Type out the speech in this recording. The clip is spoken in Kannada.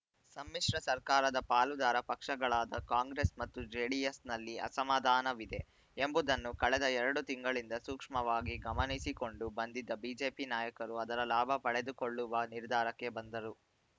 ಸಮ್ಮಿಶ್ರ ಸರ್ಕಾರದ ಪಾಲುದಾರ ಪಕ್ಷಗಳಾದ ಕಾಂಗ್ರೆಸ್‌ ಮತ್ತು ಜೆಡಿಎಸ್‌ನಲ್ಲಿ ಅಸಮಾಧಾನವಿದೆ ಎಂಬುದನ್ನು ಕಳೆದ ಎರಡು ತಿಂಗಳಿಂದ ಸೂಕ್ಷ್ಮವಾಗಿ ಗಮನಿಸಿಕೊಂಡು ಬಂದಿದ್ದ ಬಿಜೆಪಿ ನಾಯಕರು ಅದರ ಲಾಭ ಪಡೆದುಕೊಳ್ಳುವ ನಿರ್ಧಾರಕ್ಕೆ ಬಂದರು